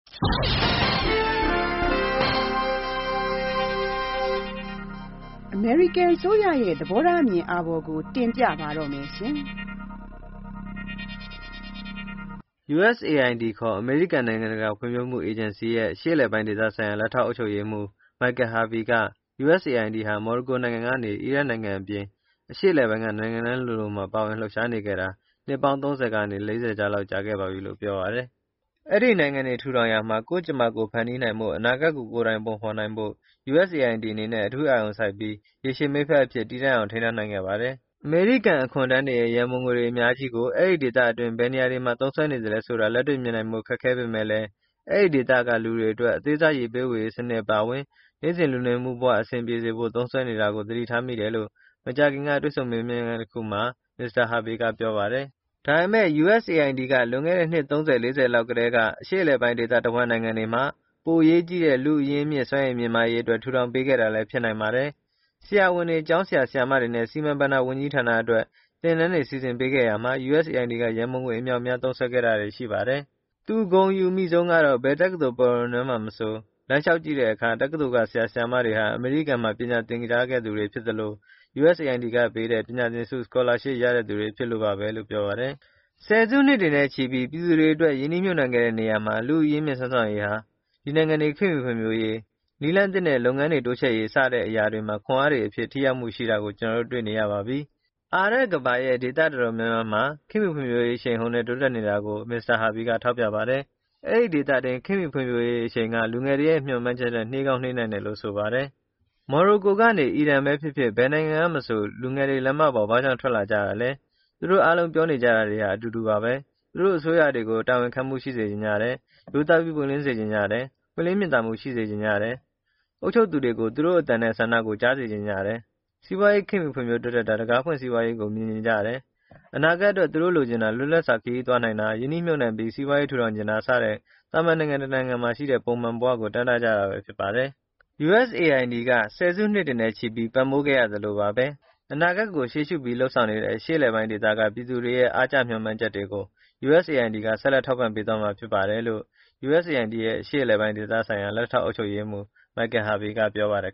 အမေရိကန်အစိုးရရဲ့ သဘောထားအမြင်အာဘော်ကို တင်ပြပါမယ်။ USAID ခေါ် အမေရိကန်နိုင်ငံတကာဖွံ့ဖြိုးမှုအေဂျင်စီရဲ့ အရှေ့အလယ်ပိုင်းဒေသဆိုင်ရာ လက်ထောက်အုပ်ချုပ်ရေးမှူး Michael Harvey က USAID ဟာ မော်ရိုကိုနိုင်ငံကနေ အီရတ်နိုင်ငံအပြင် အရှေ့အလယ်ပိုင်းက နိုင်ငံတိုင်းလိုလိုမှာ ပါဝင်လှုပ်ရှားနေခဲ့တာ အနှစ် ၃၀ ကနေ ၄၀ လောက် ကြာခဲ့ပါပြီလို့ပြောပါတယ်။ "အဲဒီနိုင်ငံတွေထူထောင်ရာမှာ ကိုယ့်ကြမ္မာကိုယ်ဖန်တီးနိုင်ဖို့၊ အနာဂတ်ကို ကိုယ်တိုင်ပုံဖေါ်နိုင်ဖို့ USAID အနေနဲ့ အထူးအာရုံစိုက်ပြီး ရေရှည်မိတ်ဖက်အဖြစ် တည်တံ့အောင်ထိန်းထားနိုင်ခဲ့ပါတယ်။" အမေရိကန်အခွန်ထမ်းတွေရဲ့ ရန်ပုံငွေတွေ အများကြီးကို အဲဒီဒေသတွင်း ဘယ်နေရာတွေမှာ သုံးစွဲ နေသလဲဆိုတာ လက်တွေ့ မြင်နိုင်ဖို့ ခက်ခဲပေမဲ့လည်း အဲဒီဒေသကလူတွေအတွက် အသေးစား ရေပေးဝေရေးစနစ်အပါအဝင် နေ့စဉ်လူနေမှုဘဝအဆင်ပြေစေဖို့ သုံးစွဲနေတာကို သတိထားမိတယ်လို့ မကြာခင်က တွေ့ဆုံမေးမြန်းခန်းတခုမှာ Mr. Harvey ကပြောပါတယ်။ “ဒါပေမယ့် USAID က လွန်ခဲ့တဲ့ အနှစ် ၃၀၊ ၄၀ လောက်ကတည်းက အရှေ့အလယ်ပိုင်း ဒေသတဝန်းနိုင်ငံတွေမှာ ပိုအရေးကြီးတဲ့ လူ့အရင်းအမြစ်စွမ်းရည်မြင့်မားရေးအတွက် ထူထောင် ပေးခဲ့တာလည်း ဖြစ်နိုင်ပါတယ်။ ဆရာဝန်တွေ၊ကျောင်းဆရာ၊ ဆရာမတွေနဲ့ စီမံဘဏ္ဍာဝန်ကြီးဌာန အတွက် သင်တန်းတွေစီစဉ်ပေးခဲ့ရာမှာ USAID က ရန်ပုံငွေအမြောက်အများ သုံးစွဲခဲ့တာတွေ ရှိပါတယ်။" သူ ဂုဏ်အယူမိဆုံးကတော့ ဘယ်တက္ကသိုလ်ပရဝဏ်ထဲမှာမဆို လမ်းလျှောက်ကြည့်တဲ့အခါ တက္ကသိုလ်က ဆရာ၊ဆရာမတွေဟာ အမေရိကန်မှာ ပညာသင်ခဲ့ကြသူဖြစ်သလို၊ USAID ကပေးတဲ့ ပညာသင်ဆု Scholarship ရတဲ့သူတွေဖြစ်လို့ပါဘဲလို့ ပြောပါတယ်။ “၁၀ စုနှစ်တွေနဲ့ ချီပြီး ပြည်သူတွေအတွက် ရင်းနှီးမြှုပ်နှံခဲ့တဲ့နေရာမှာ လူ့အရင်းအမြစ်၊ စွမ်းဆောင်ရည်ဟာ ဒီနိုင်ငံတွေ ခေတ်မှီဖွံ့ဖြိုးရေး၊ နည်းလမ်းသစ်နဲ့ လုပ်ငန်းတွေတိုးချဲ့ရေးစတဲ့အရာ တွေမှာ ခွန်အားတွေအဖြစ် ထိရောက်မှုရှိတာကို ကျနော်တို့ တွေ့နေရပါပြီ။" အာရပ်ကမ္ဘာရဲ့ ဒေသအတော်များများမှာ ခေတ်မှီဖွံဖြိုးရေး အရှိန်အဟုန်နဲ့ တိုးတက်နေတာကို Mr. Harvey ထောက်ပြပါတယ်။ အဲဒီဒေသတွင်းခတ်မှီဖွံဖြိုးရေးအရှိန်က လူငယ်တွေရဲ့ မျှော်မှန်းချက်ထက်၊ နှေးကောင်းနှေးနိုင်တယ်လို့ ဆိုပါတယ်။ “မော်ရိုကိုကနေ အီရန်..ဘဲဖြစ်ဖြစ်၊ ဘယ်နိုင်ငံကမဆို လူငယ်တွေ လမ်းမတွေပေါ် ဘာကြောင့် ထွက်လာကြတာလဲ၊ သူတို့အားလုံး ပြောနေကြတာတွေဟာ အတူတူပါဘဲ။ သူတို့ အစိုးရတွေကို တာဝန်ခံမှုရှိစေချင်ကြတယ်၊ ရိုးသားပြီးပွင့်လင်းစေချင်ကြတယ်၊ ပွင့်လင်းမြင်သာမှုရှိစေချင်ကြတယ်။ အုပ်ချုပ်သူတွေကို သူတို့အသံနဲ့ ဆန္ဒကိုကြားစေချင်ကြတယ်၊ စီးပွားရေးခေတ်မှီတိုးတက်တာ၊ တံခါးဖွင့်စီးပွားရေးကို မြင်ချင်ကြတယ်။ အနာဂတ်အတွက် သူတို့လိုချင်တာ၊ လွတ်လပ်စွာ ခရီးသွားနိုင်တာ၊ ရင်းနှီးမြှုပ်နှံပြီး စီးပွားရေးထူထောင်ချင်တာစတဲ့ သာမန်နိုင်ငံတနိုင်ငံမှာရှိတဲ့ ပုံမှန်ဘဝကို တမ်းတကြတာဘဲဖြစ်ပါတယ်။" USAID က ၁၀ စုနှစ်တွေနဲ့ချီပြီး ပံ့ပိုးခဲ့သလိုပါဘဲ၊အနာဂတ်ကိုရှေ့ရှုပြီး လုပ်ဆောင်နေတဲ့ အရှေ့အလယ်ပိုင်းဒေသက ပြည်သူတွေရဲ့ အားကျမျှော်မှန်းချက်တွေကို USAID က ဆက်လက် ထောက်ပံ့သွားမှာဖြစ်ပါတယ်လို့ USAID ရဲ့ အရှေ့အလယ်ပိုင်းဒေသဆိုင်ရာ လက်ထောက်အုပ်ချုပ်ရေးမှူး Michael Harvey ကပြောပါတယ်